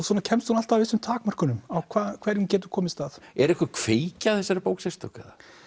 svona kemst hún alltaf að vissum takmörkunum á hverju hún getur komist að er einhver kveikja að þessari bók sérstök